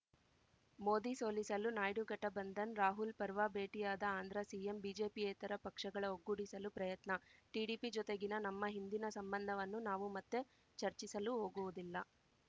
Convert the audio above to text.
ಮೋದಿ ಸೋಲಿಸಲು ನಾಯ್ಡು ಘಟಬಂಧನ್‌ ರಾಹುಲ್‌ ಪರ್ವಾ ಭೇಟಿಯಾದ ಆಂಧ್ರ ಸಿಎಂ ಬಿಜೆಪಿಯೇತರ ಪಕ್ಷಗಳ ಒಗ್ಗೂಡಿಸಲು ಪ್ರಯತ್ನ ಟಿಡಿಪಿ ಜೊತೆಗಿನ ನಮ್ಮ ಹಿಂದಿನ ಸಂಬಂಧವನ್ನು ನಾವು ಮತ್ತೆ ಚರ್ಚಿಸಲು ಹೋಗುವುದಿಲ್ಲ